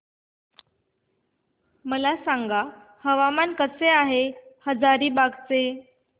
मला सांगा हवामान कसे आहे हजारीबाग चे